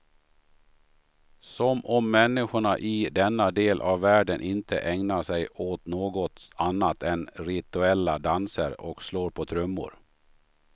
Som om människorna i denna del av världen inte ägnar sig åt något annat än rituella danser och slå på trummor.